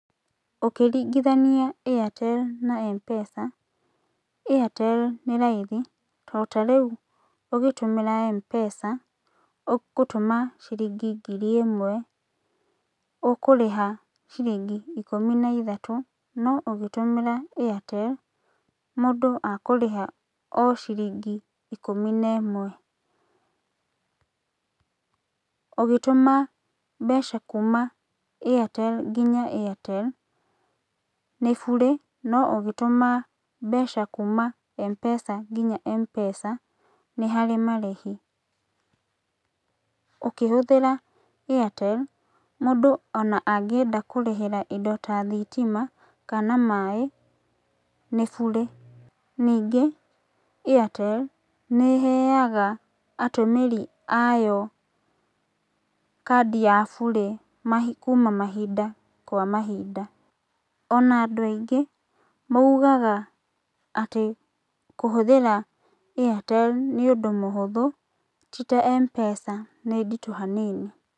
Ũkĩringĩthania airtel na mpesa, airtel nĩ raithi tondũ ta rĩũ ũgĩtũmĩra mpesa ũ gũtũma ciringi ngiri ĩmwe ũkũrĩha ciringi ikũmi na ithatu, no ũgĩtumĩra airtel, mũndũ akũrĩha o ciringi ikũmi na imwe. Ũgĩtũma mbeca kuuma airtel ngĩnya airtel nĩ bure, no ũgĩtũma mbeca kuuma mpesa ngĩnya mpesa nĩ harĩ marĩhi. Ũkĩhũthĩra airtel, mũndũ ona angĩenda kũrĩhĩra indo ta thitima kana maĩĩ nĩ bure, ningĩ airtel nĩĩheaga atũmĩri ayo kadi ya bure mahind kuuma mahinda kwa mahinda. Ona andũ aingĩ maugaga kũhũthĩra airtel nĩ ũndũ mũhũthũ tĩ ta mpesa nĩ nditũ hanini.